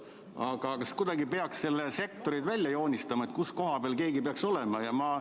Aga kas kuidagi ei peaks siin sektorid välja joonistama, kus koha peal keegi peaks olema?